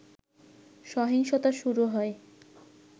সহিংসতা শুরু হয়